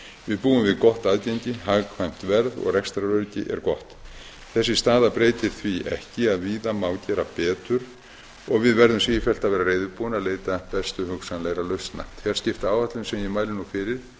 við búum við gott aðgengi hagkvæmt verð og rekstraröryggi er gott þessi staða breytir því ekki að víða má gera betur og við verðum sífellt að vera reiðubúin að leita bestu hugsanlegra lausna fjarskiptaáætlunin sem ég mæli nú fyrir